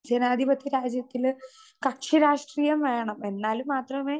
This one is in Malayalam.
സ്പീക്കർ 2 ജനാധിപത്യ രാജ്യത്തില് കക്ഷിരാഷ്ട്രീയം വേണം. എന്നാൽ മാത്രമെ